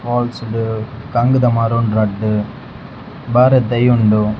Falls ಡ್ ಕಂಗ್ದ ಮರ ಉಂಡು ರಡ್ಡ್ ಬಾರದ ದೈ ಉಂಡು.